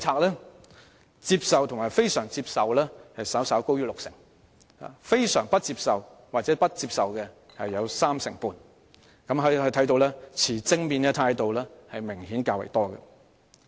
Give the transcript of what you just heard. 表示接受及非常接受的人士稍高於六成，而非常不接受及不接受的則佔三成半，可見持正面態度的人明顯較多。